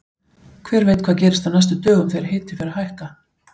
Hver veit hvað gerist á næstu dögum þegar hiti fer að hækka!